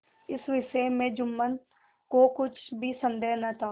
इस विषय में जुम्मन को कुछ भी संदेह न था